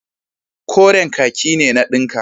Koren kaki ne na dinka.